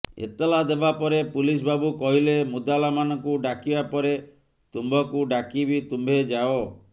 ଏତଲା ଦେବାପରେ ପୁଲିସ ବାବୁ କହିଲେ ମୁଦାଲା ମାନଙ୍କୁ ଡାକିବା ପରେ ତୁମ୍ଭଙ୍କୁ ଡାକିବି ତୁମ୍ଭେ ଯାଅ